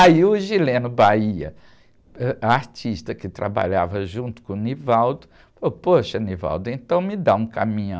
Aí o, ãh, artista que trabalhava junto com o, falou, poxa, então me dá um caminhão.